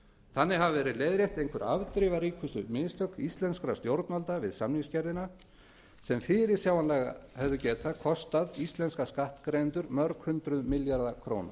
þannig hafa verið leiðrétt einhver afdrifaríkustu mistök íslenskra stjórnvalda við samningagerðina sem fyrirsjáanlega hefðu getað kostað íslenska skattgreiðendur mörg hundruð milljarða króna